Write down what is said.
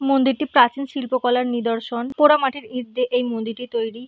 মন্দিরটি প্রাচীন শিল্পকলার নিদর্শন পোড়া মাটির ইট দিয়ে এই মন্দিরটি তৈরি।